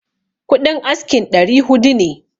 Kuɗin askin ɗari hudu ne